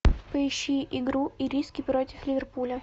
поищи игру ириски против ливерпуля